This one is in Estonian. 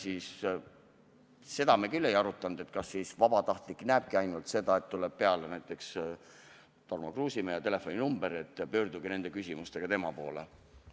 Aga seda me küll ei arutanud, kas vabatahtlik näebki siis ainult seda, et tuleb peale näiteks Tarmo Kruusimäe ja telefoninumber ning et pöördutagu nende küsimustega tema poole.